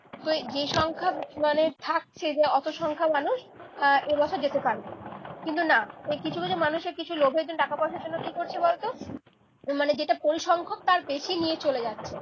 তো যে সংখ্যক মানে থাকছে যে অত সংখ্যা মানুষ আহ এ মাসে যেতে পারবে। কিন্তু না এই কিছু কিছু মানুষের কিছু লোভের জন্য টাকা পয়সার জন্য কি করছে বলতো মানে যেটা পরিসংখ্যক তার বেশি নিয়ে চলে যাচ্ছে।